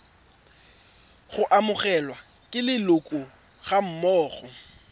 go amogelwa ke leloko gammogo